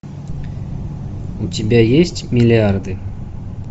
у тебя есть миллиарды